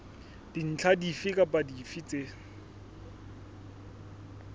dintlha dife kapa dife tse